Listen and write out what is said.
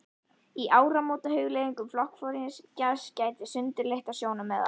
Í áramótahugleiðingum flokksforingjanna gætti sundurleitra sjónarmiða.